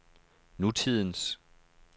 nutidens